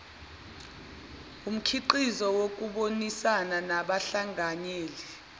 wumkhiqizo wokubonisana nabahlanganyeli